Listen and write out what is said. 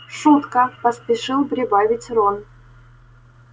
шутка поспешил прибавить рон